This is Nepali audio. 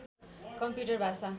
कम्प्युटर भाषा